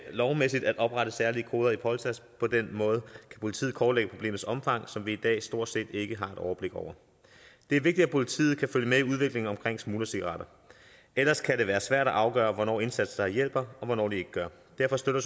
lovmæssigt at oprette særlige koder i polsas på den måde kan politiet kortlægge problemets omfang som vi i dag stort set ikke har et overblik over det er vigtigt at politiet kan følge med i udviklingen omkring smuglercigaretter ellers kan det være svært at afgøre hvornår indsatser hjælper og hvornår de ikke gør derfor støtter